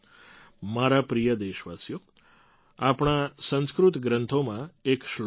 મારા પ્રિય દેશવાસીઓ આપણા સંસ્કૃત ગ્રંથોમાં એક શ્લોક છે